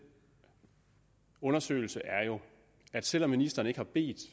undersøgelse er jo at selv om ministeren ikke har bedt